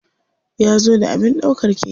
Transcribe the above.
Ya zo da abin ɗaukar keke.